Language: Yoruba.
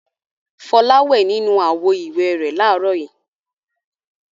Fọlá wẹ̀ nínú àwo-ìwẹ̀ rẹ̀ láàárọ̀ yìí.